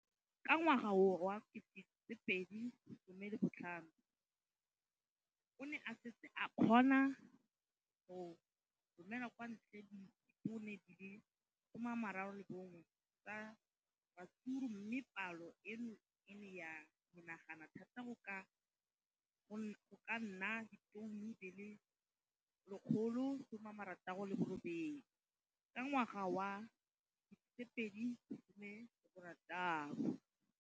Ka ngwaga wa 2015, o ne a setse a kgona go romela kwa ntle ditone di le 31 tsa ratsuru mme palo eno e ne ya menagana thata go ka nna ditone di le 168 ka ngwaga wa 2016.